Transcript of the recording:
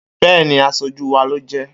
Bẹ́ẹ́ni aṣojú wá ló jẹ́.